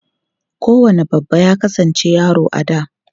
Kowane babba ya kasance yaro a da.